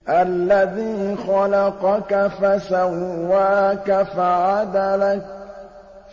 الَّذِي خَلَقَكَ فَسَوَّاكَ فَعَدَلَكَ